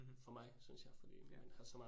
Mh. Ja